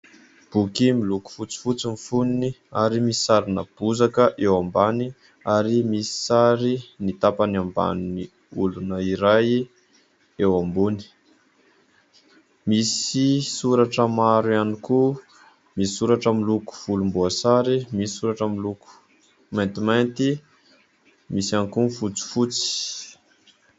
Boky miloko fotsifotsy ny foniny ary misy sarina bozaka eo ambany ary misy sary ny tapany ambanin'olona iray eo ambony. Misy soratra maro ihany koa, misy soratra miloko volomboasary, misy soratra miloko maintimanty, misy ihany koa ny fotsifotsy.